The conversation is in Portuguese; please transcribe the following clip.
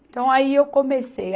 Então, aí eu comecei.